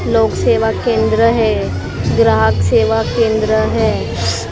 लोग सेवा केंद्र है ग्राहक सेवा केंद्र है--